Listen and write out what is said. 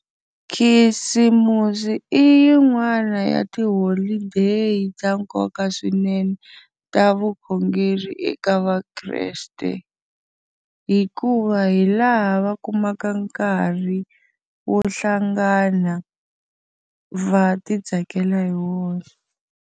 Khisimusi i yin'wana ya tiholideyi ta nkoka swinene ta vukhongeri eka vakreste, hikuva hi laha va kumaka nkarhi wo hlangana va ti tsakela hi wona.